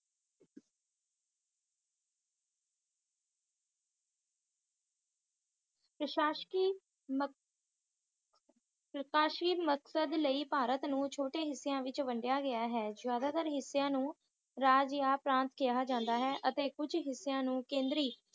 ਪ੍ਰਸ਼ਾਸ਼ਕੀ ਮਕ ਪ੍ਰਸ਼ਾਸ਼ਕੀ ਮੱਕਸਦ ਲਈ ਭਾਰਤ ਨੂੰ ਛੋਟੇ ਹਿੱਸਿਆਂ ਵਿਚ ਵੰਡਿਆ ਗਿਆ ਹੈ ਜ਼ਿਆਦਾਤਰ ਹਿੱਸਿਆਂ ਨੂੰ ਰਾਜ ਯਾ ਪ੍ਰਾਂਤ ਕਿਹਾ ਜਾਂਦਾ ਹੈ ਅਤੇ ਕੁੱਛ ਹਿੱਸਿਆਂ ਨੂੰ ਕੇਂਦਰੀ